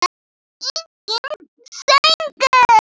Enginn söngur.